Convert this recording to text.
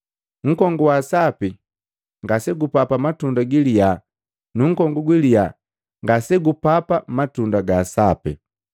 Nkongu wa sapi ngase gupapa matunda giliya nu nkongu gwiliya ngase gupapa matunda gaa sape.